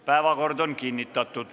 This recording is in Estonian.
Päevakord on kinnitatud.